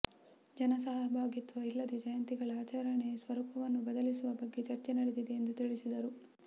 ಜನ ಸಹಭಾಗಿತ್ವ ಇಲ್ಲದ ಜಯಂತಿಗಳ ಆಚರಣೆ ಸ್ವರೂಪವನ್ನು ಬದಲಿಸುವ ಬಗ್ಗೆ ಚರ್ಚೆ ನಡೆದಿದೆ ಎಂದು ತಿಳಿಸಿದರು